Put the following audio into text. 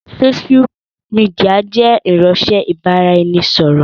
Sósú midià jẹ́ irinsẹ́ ibà ra ẹni ṣọ̀rọ̀